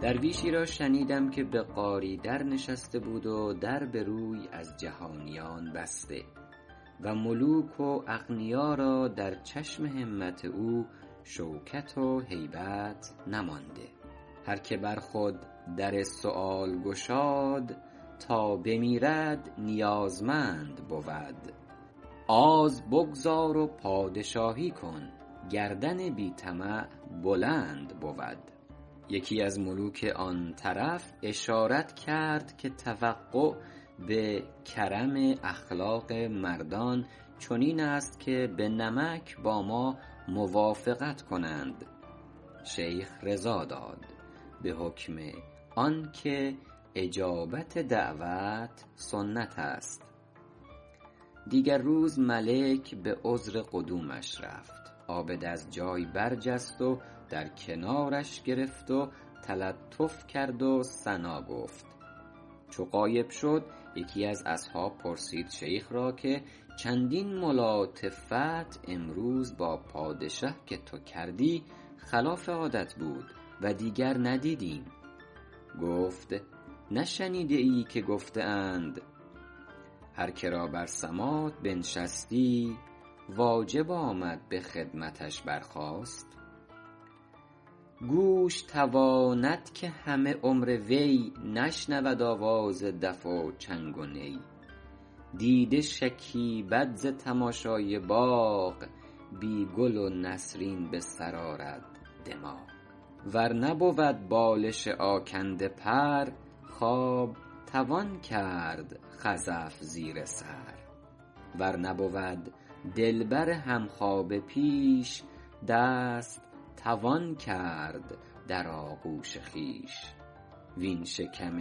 درویشی را شنیدم که به غاری در نشسته بود و در به روی از جهانیان بسته و ملوک و اغنیا را در چشم همت او شوکت و هیبت نمانده هر که بر خود در سؤال گشاد تا بمیرد نیازمند بود آز بگذار و پادشاهی کن گردن بی طمع بلند بود یکی از ملوک آن طرف اشارت کرد که توقع به کرم اخلاق مردان چنین است که به نمک با ما موافقت کنند شیخ رضا داد به حکم آن که اجابت دعوت سنت است دیگر روز ملک به عذر قدومش رفت عابد از جای برجست و در کنارش گرفت و تلطف کرد و ثنا گفت چو غایب شد یکی از اصحاب پرسید شیخ را که چندین ملاطفت امروز با پادشه که تو کردی خلاف عادت بود و دیگر ندیدیم گفت نشنیده ای که گفته اند هر که را بر سماط بنشستی واجب آمد به خدمتش برخاست گوش تواند که همه عمر وی نشنود آواز دف و چنگ و نی دیده شکیبد ز تماشای باغ بی گل و نسرین به سر آرد دماغ ور نبود بالش آکنده پر خواب توان کرد خزف زیر سر ور نبود دلبر همخوابه پیش دست توان کرد در آغوش خویش وین شکم